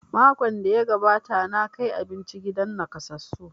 Makon da ya gabata na kai abinci gidan nakasassu